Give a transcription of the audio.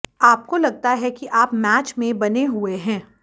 आपको लगता है कि आप मैच में बने हुए हैं